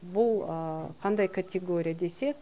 бұл қандай категория десек